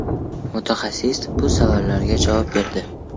Mutaxassis bu savollarga javob berdi.